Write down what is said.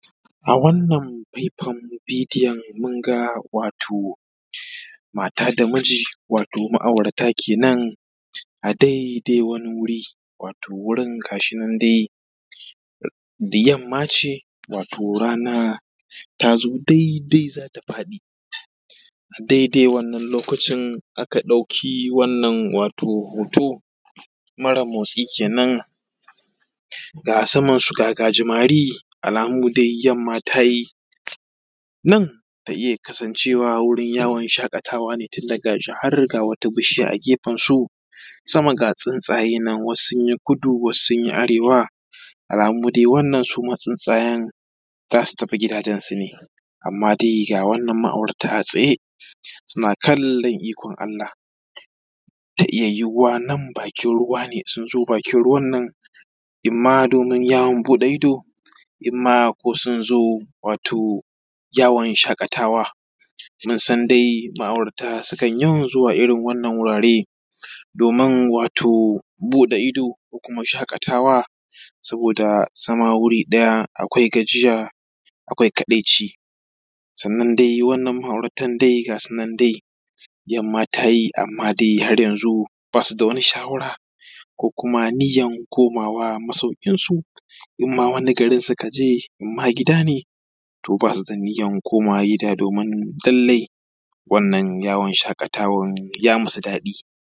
A wannan fai-fain bidoyon munga wato mata da miji ( wato ma’aurata kenen) a daidai wani wuri, wato wurin gashinan dai yammace wato rana ta zo daidai zata faɗi. Daidai wannan lokacin aka ɗauki wannan wato hoto mare motsi kenen, ga a samansu ga gajimari, alamu dai yamma tayi nan ta iya kasancewa wurin yawon shakatawa ne, tunda gashi har ga wata bishiya a gefensu, sama ga tsuntsaye nan wasu sunyi kudu, wasu sunyi arewa, alamu dai wannan suma tsuntsayen za su tafi gidajensu ne, amma dai ga wannan ma’auta a tsaye suna kallon ikon Allah. Ta iya yiwuwa nan bakin ruwa ne, sun zo bakin ruwan nan imma domin yawon buɗe ido, imma ko sun zo wato yawon shaƙatawa, mun san dai ma’aurata sukan yawan zuwa irin wannan wurare domin wato buɗe ido ko kuma shaƙatawa, saboda zama guri ɗaya akwai gajiya, akwai kadaici. Sannan dai wannan ma’auratan dai gasu nan dai, yamma tayi amma dai har yanzu basu da wani shawara ko kuma ninya komawa masaukinsu, imma wani garin suka je, imma gida ne, to basu da ninyan komawa gida domin lalle wanna yawon shaƙatawan ya musu daɗi.